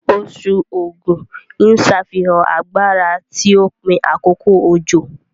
Oṣù Ógù ń ṣàfihàn agbára ti òpin àkókò òjò